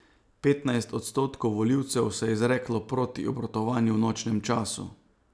Petnajst odstotkov volilcev se je izreklo proti obratovanju v nočnem času.